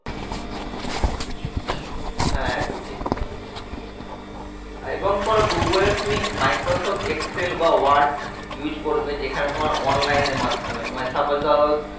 হ্যাঁ একদম ঠিক কথা এবং তোমার google এ তুমি microsoft excel বা word use করবে যেখানে তোমার online এর মাধ্যমে মানে suppose ধরো